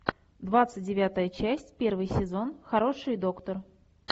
двадцать девятая часть первый сезон хороший доктор